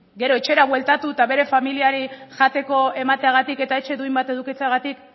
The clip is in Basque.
gero etxera bueltatu eta bere familiari jateko emateagatik eta etxe duin bat edukitzegatik